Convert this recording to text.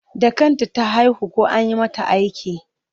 Da kanta ta haihu ko an yi mata aiki?